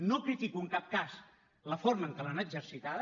no critico en cap cas la forma en què l’han exercitada